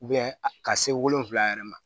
ka se wolonfila yɛrɛ ma